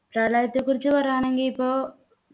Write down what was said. പ്രളയത്തെക്കുറിച്ചു പറയാണെങ്കി ഇപ്പോ